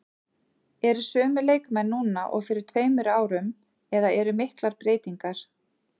Eru sömu leikmenn núna og fyrir tveimur árum eða eru miklar breytingar?